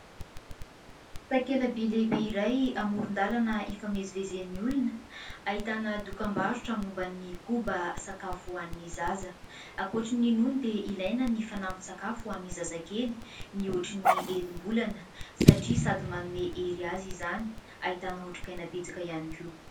Takela-by lehibe iray, amoron-dalana ifamezivezen'ny olona, ahitana dokam-barotra momba ny koba sakafo ho an'ny zaza. Ankoatran'ny nono dia ilaina ny fanampin-tsakafo ho an'ny zazakely mihoatra ny enim-bolana satria sady manome hery azy izany, ahitana otrikaina betsaka ihany koa.